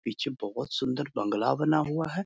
पीछे बहोत सुंदर बंगला बना हुआ है।